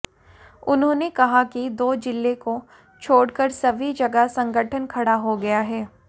उन्होंने कहा कि दो जिलों को छोड़ कर सभी जगह संगठन खड़ा हो गया है